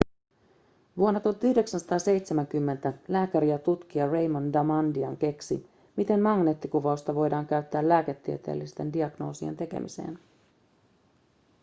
vuonna 1970 lääkäri ja tutkija raymond damadian keksi miten magneettikuvausta voidaan käyttää lääketieteellisten diagnoosien tekemiseen